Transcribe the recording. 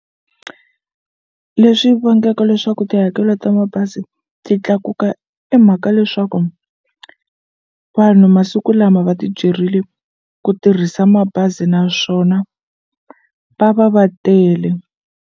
Leswi vangaka leswaku tihakelo ta mabazi ti tlakuka i mhaka leswaku vanhu masiku lama va ti byerile ku tirhisa mabazi naswona va va va tele.